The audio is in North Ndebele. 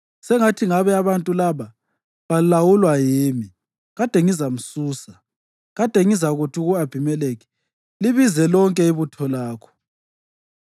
Sengathi ngabe abantu laba balawulwa yimi! Kade ngizamsusa. Kade ngizakuthi ku-Abhimelekhi, ‘Libize lonke ibutho lakho.’ ”